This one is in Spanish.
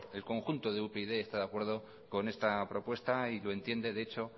el conjunto de upyd está de acuerdo con esta propuesta y lo entiende